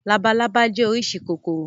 Labalábá jẹ́ oríṣi kòkòrò.